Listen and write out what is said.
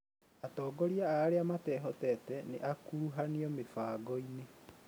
Atongoria a arĩa matehotete nĩakuruhanirio mĩbangoinĩ